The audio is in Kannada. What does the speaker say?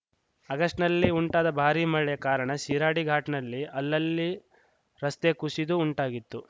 ಆಗಸ್ಟ್‌ನಲ್ಲಿ ಉಂಟಾದ ಭಾರಿ ಮಳೆಯ ಕಾರಣ ಶಿರಾಡಿ ಘಾಟ್‌ನಲ್ಲಿ ಅಲ್ಲಲ್ಲಿ ರಸ್ತೆ ಕುಶಿದು ಉಂಟಾಗಿತ್ತು